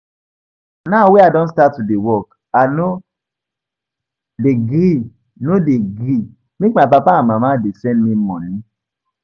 Now wey I don start to dey work I no dey gree no dey gree make my papa and mama dey send me money